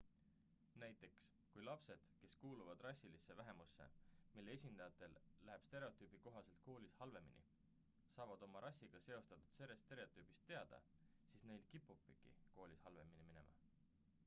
näiteks kui lapsed kes kuuluvad rassilisse vähemusse mille esindajatel läheb stereotüübi kohaselt koolis halvemini saavad oma rassiga seostatud stereotüübist teada siis neil kipubki koolis halvemini minema